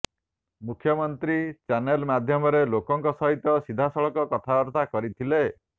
ମୁଖ୍ୟମନ୍ତ୍ରୀ ଚ୍ୟାନେଲ ମାଧ୍ୟମରେ ଲୋକଙ୍କ ସହିତ ସିଧାସଳଖ କଥାବାର୍ତ୍ତା କରିଥିଲେ